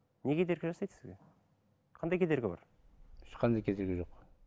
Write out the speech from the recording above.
не кедергі жасайды сізге қандай кедергі бар ешқандай кедергі жоқ